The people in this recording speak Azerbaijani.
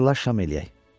Hazırlaş şam eləyək.